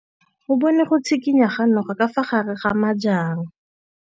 O bone go tshikinya ga noga ka fa gare ga majang.